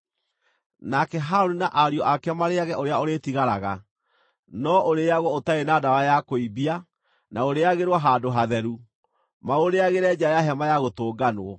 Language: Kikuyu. Nake Harũni na ariũ ake marĩĩage ũrĩa ũrĩtigaraga, no ũrĩĩagwo ũtarĩ na ndawa ya kũimbia, na ũrĩĩagĩrwo handũ hatheru; maũrĩagĩre nja ya Hema-ya-Gũtũnganwo.